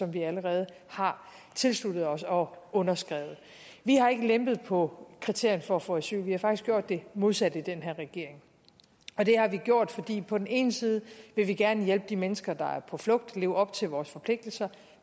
vi allerede har tilsluttet os og underskrevet vi har ikke lempet på kriterierne for at få asyl vi har faktisk gjort det modsatte i den her regering det har vi gjort fordi vi på den ene side gerne vil hjælpe de mennesker der er på flugt og leve op til vores forpligtelser og